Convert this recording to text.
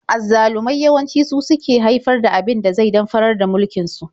Azzalumai yawanci su suke haifar da abin da zai damfarar da mulkin su.